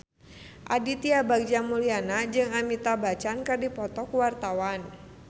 Aditya Bagja Mulyana jeung Amitabh Bachchan keur dipoto ku wartawan